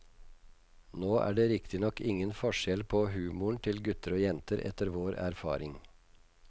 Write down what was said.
Nå er det riktignok ingen forskjell på humoren til gutter og jenter, etter vår erfaring.